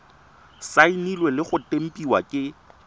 saenilwe le go tempiwa ke